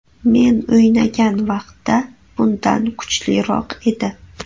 Men o‘ynagan vaqtda bundan kuchliroq edi.